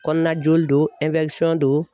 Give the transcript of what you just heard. Kɔnɔna joli don don